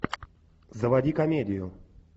заводи комедию